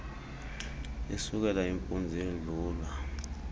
isukela impunzi yedlula